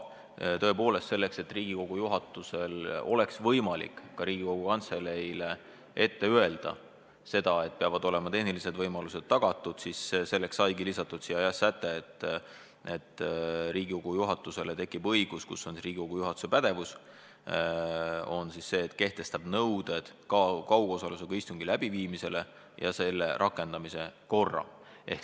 Just selleks, et Riigikogu juhatusel oleks võimalik Riigikogu Kantseleile ette öelda, et peavad olema tehnilised võimalused tagatud, saigi lisatud säte, et Riigikogu juhatusel tekib õigus kehtestada nõuded kaugosalusega istungi läbiviimise kohta ja selle rakendamise kord.